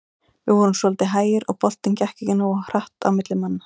Við vorum svolítið hægir og boltinn gekk ekki nógu hratt á milli manna.